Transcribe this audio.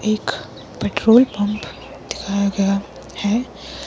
एक petrol pump दिखाया गया है।